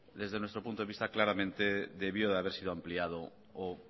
desde nuestro punto de vista claramente debió de haber sido ampliado o